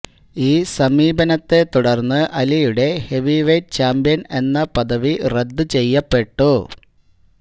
ഈ സമീപനത്തെ തുടര്ന്ന് അലിയുടെ ഹെവിവെയിറ്റ് ചാമ്പ്യന് എന്ന പദവി റദ്ദു ചെയ്യപ്പെട്ടു